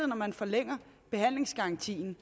når man forlænger behandlingsgarantien